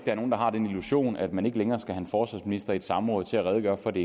er nogen der har den illusion at man ikke længere skal have en forsvarsminister i et samråd til at redegøre for det